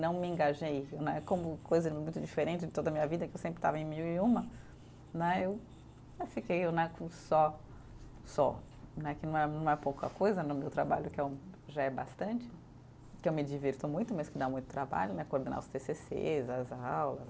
Não me engajei né, como coisa muito diferente de toda a minha vida, que eu sempre estava em mil e uma né, eu fiquei né com um só, só, né que não é, não é pouca coisa no meu trabalho, que é o, já é bastante, que eu me divirto muito, mas que dá muito trabalho né, coordenar os tê cê cês, as aulas.